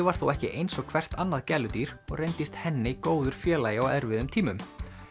var þó ekki eins og hvert annað gæludýr og reyndist góður félagi á erfiðum tímum